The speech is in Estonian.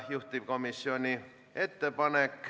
Rohkem sõnavõtusoove ei ole.